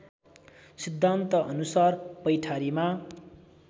सिद्धान्तअनुसार पैठारीमा